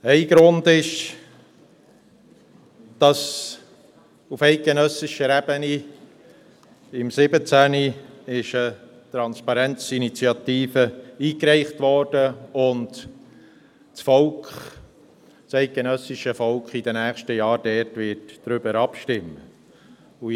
Ein Grund ist, dass auf eidgenössischer Ebene im Jahr 2017 eine «Transparenz-Initiative» eingereicht wurde und das eidgenössische Volk in den nächsten Jahren darüber abstimmen wird.